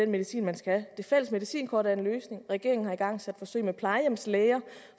medicinen man skal det fælles medicinkort er en løsning regeringen har igangsat forsøg med plejehjemslæger